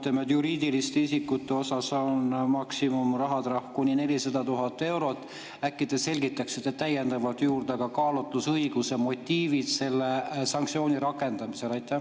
Kuna juriidilistel isikutel on maksimumrahatrahv 400 000 eurot, siis äkki te selgitaksite täiendavalt juurde ka kaalutlusõiguse motiive selle sanktsiooni rakendamisel?